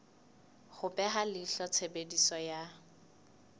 ho beha leihlo tshebediso ya